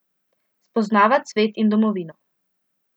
Spoznavat svet in domovino!